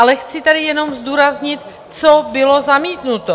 Ale chci tady jenom zdůraznit, co bylo zamítnuto.